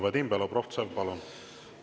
Vadim Belobrovtsev, palun!